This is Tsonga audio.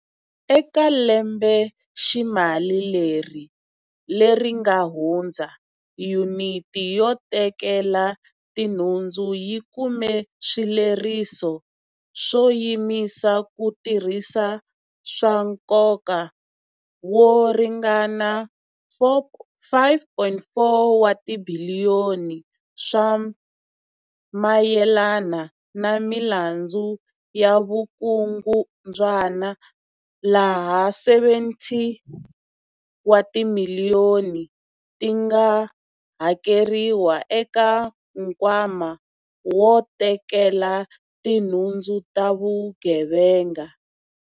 Eka lembeximali leri nga hundza, Yuniti yo Tekela Tinhundzu yi kume swileriso swo yimisa ku tirhisa swa nkoka wo ringana R5.4 wa tibiliyoni swa mayelana na milandzu ya vukungu ndzwana, laha R70 wa timiliyoni ti nga hakeriwa eka Nkwama wo Tekela Tinhundzu ta Vugevenga.